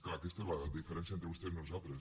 clar aquesta és la diferència entre vostès i nosaltres